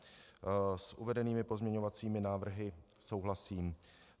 S uvedenými pozměňovacími návrhy souhlasím.